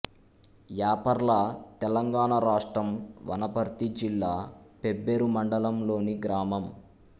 యాపర్ల తెలంగాణ రాష్ట్రం వనపర్తి జిల్లా పెబ్బేరు మండలంలోని గ్రామం